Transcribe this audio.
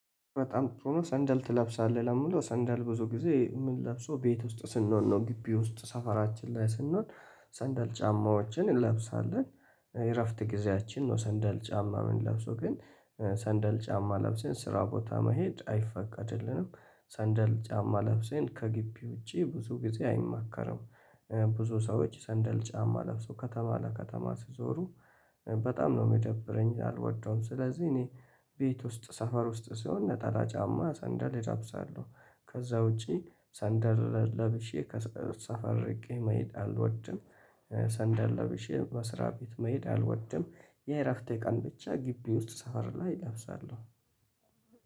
በጣም ሆኖ ሰንደል ትለብሳለህ ለምለው ሰንደል ብዙ ጊዜ ምንለብው ቤት ውስጥ ስንሆን ነው ግቢ ውስጥ ሰፈራችን ላይ ስንሆን ሰንደል ጫማዎችን እንለብሳለን። የእረፍት ጊዜያችን ነው ሰንደል ጫማ የምንለብሰው ግን ሰንደል ጫማ ለብሰን ስራ ቦታ መሄድ አይፈቀድልንም። ሰንደል ጫማ ለብሰን ከግቢ ውጪ ብዙ ጊዜ አይማከርም። ብዙ ሰዎች ሰንደል ጫማ ለብሰው ከተማ ለከተማ ሲዞሩ በጣም ነው የሚደብረኝ አልወደውም። ስለዚህ እኔ ቤት ውስጥ ሰፈር ውስጥ ስሆን ነጠላ ጫማ ሰንደል እለብሳለሁ። ከዛ ውጪ ሰንደል ለብሼ ከሰፈር እርቄ መሄድ አልወድም። ሰንደል ለብሼ በስራ ቤት መሄድ አልወድም። የእረፍቴ ቀን ብቻ ግቢ ውስጥ ሰፈር ላይ እለብሳለሁ